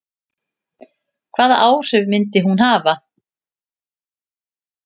Hvaða áhrif myndi hún hafa?